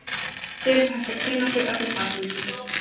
Hér er hægt að kynna sér efni bæklingsins.